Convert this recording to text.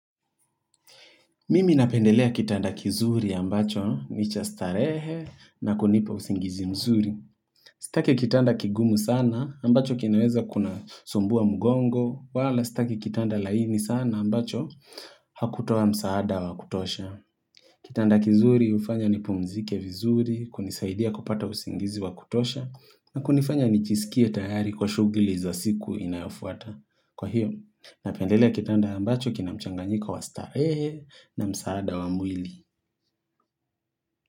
Mimi napendelea kitanda kizuri ambacho ni cha starehe na kunipa usingizi mzuri. Sitaki kitanda kigumu sana ambacho kinaweza kuna sumbuwa mgongo. Wala sitake kitanda laini sana ambacho hakutowa msaada wa kutosha. Kitanda kizuri hufanya ni pumzike vizuri, kunisaidia kupata usingizi wa kutosha na kunifanya nijjisikie tayari kwa shughuli za siku inayofuata. Kwa hiyo, napendelea kitanda ambacho kina mchanganyiko wa starehe na msaada wa mwili.